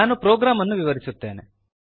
ನಾನು ಪ್ರೋಗ್ರಾಮ್ ಅನ್ನು ವಿವರಿಸುತ್ತೇನೆ